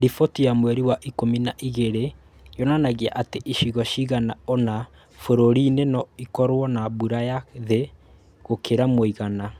Riboti ya mweri wa Ikumi na igĩrĩ yonanagia atĩ icigo cigana ũna bũrũri-inĩ no ikorũo na mbura ya thĩ gũkĩra mũigana.